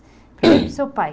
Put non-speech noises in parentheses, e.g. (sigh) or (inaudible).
(coughs) seu pai.